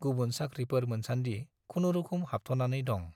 गुबुन साख्रिफोर मोनसान्दि खुनुरुखुम हाबथ'नानै दं।